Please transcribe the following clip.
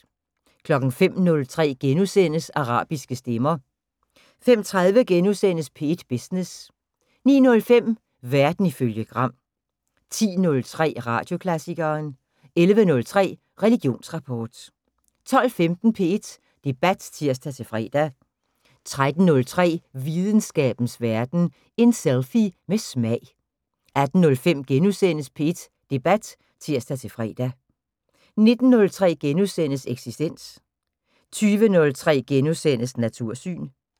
05:03: Arabiske stemmer * 05:30: P1 Business * 09:05: Verden ifølge Gram 10:03: Radioklassikeren 11:03: Religionsrapport 12:15: P1 Debat (tir-fre) 13:03: Videnskabens Verden: En selfie med smag 18:05: P1 Debat *(tir-fre) 19:03: Eksistens * 20:03: Natursyn *